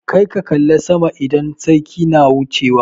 Kar ka kalla sama idan sarki na wuchewa!